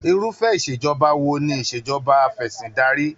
Irufẹ Ìṣèjọba wo ni Ìṣèjọba afẹ̀sìndarí?